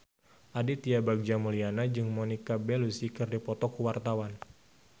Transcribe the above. Aditya Bagja Mulyana jeung Monica Belluci keur dipoto ku wartawan